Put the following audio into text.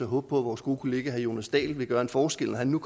håbe på at vores gode kollega herre jonas dahl vil gøre en forskel når han nu